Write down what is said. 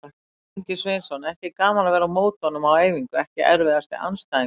Ingvi Sveinsson, ekki gaman að vera á móti honum á æfingu EKKI erfiðasti andstæðingur?